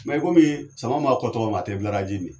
i kɔmi sama ma fɔ togo mi a tɛ bularaji min.